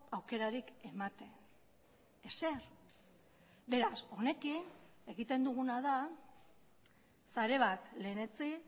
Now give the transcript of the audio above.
aukerarik ematen ezer beraz honekin egiten duguna da sare bat lehenetsi